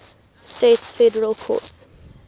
states federal courts